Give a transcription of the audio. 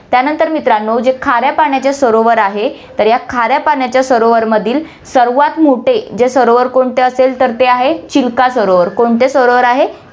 त्यानंतर मित्रांनो, जे खाऱ्या पाण्याचे सरोवर आहे, तर या खाऱ्या पाण्याच्या सरोवरमधील सर्वात मोठे जे सरोवर कोणते असेल तर ते आहे, चिल्का सरोवर, कोणते सरोवर आहे, चिल~